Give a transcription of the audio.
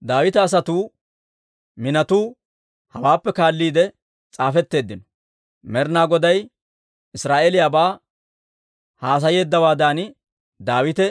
Daawita asatuu minotuu hawaappe kaalliide s'aafetteeddino. Med'inaa Goday Israa'eeliyaabaa haasayeeddawaadan, Daawite